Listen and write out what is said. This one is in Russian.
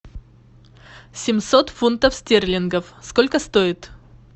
семьсот фунтов стерлингов сколько стоит